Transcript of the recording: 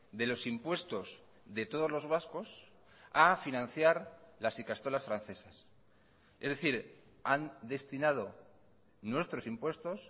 de los impuestos de todos los vascos a financiar las ikastolas francesas es decir han destinado nuestros impuestos